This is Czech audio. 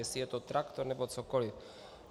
Jestli je to traktor nebo cokoliv.